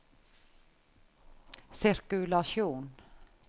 sirkulasjon